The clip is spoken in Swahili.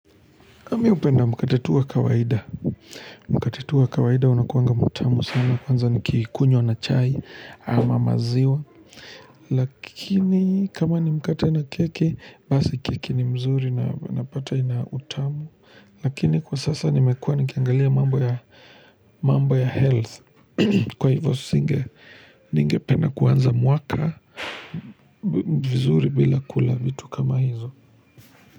Ami upenda mkate tu wa kawaida. Mkate tu wa kawaida unakuanga mutamu sana kwanza nikikunywa na chai ama maziwa. Lakini kama ni mkate na keki basi keki ni mzuri na unapata ina utamu. Lakini kwa sasa nimekuwa nikiangalia mambo ya health kwa hivyo singe ninge pendaa kuanza mwaka vizuri bila kula vitu kama hizo.